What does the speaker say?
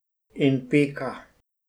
In pika.